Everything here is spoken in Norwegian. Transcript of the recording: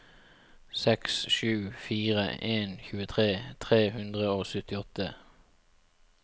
seks sju fire en tjuetre tre hundre og syttiåtte